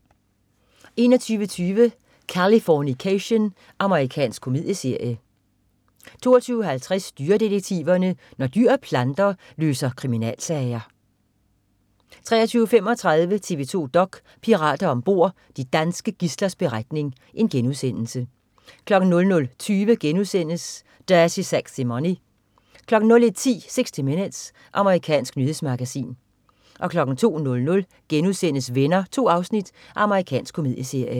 21.20 Californication. Amerikansk komedieserie 22.50 Dyredetektiverne. Når dyr og planter løser kriminalsager 23.35 TV 2 dok.: Pirater om bord. De danske gidslers beretning* 00.20 Dirty Sexy Money* 01.10 60 Minutes. Amerikansk nyhedsmagasin 02.00 Venner.* 2 afsnit. Amerikansk komedieserie